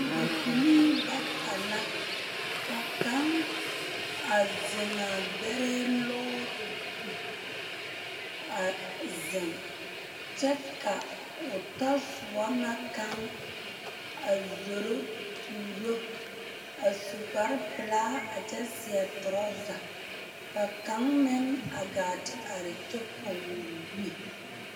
Bibilii bata la ka kaŋ a zeŋ a gbɛrɛɛ lɔɔre sakiri zu a zeŋ kyɛ ka o tasoba na kaŋ a zoro tuuro a su kpare pelaa a kyɛ seɛ toraza ka kaŋ meŋ a gaa te are kyɛ pɔge o niŋe.